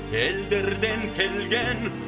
елдерден келген